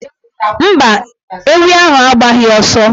Mba, ewi ahụ agbaghị ọsọ.